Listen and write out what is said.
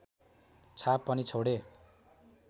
छाप पनि छोडे